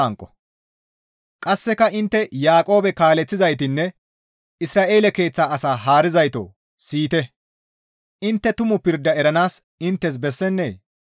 Qasseka, «Intteno Yaaqoobe kaaleththizaytanne Isra7eele keeththa asaa haarizaytoo siyite; intte tumu pirda eranaas inttes bessennee?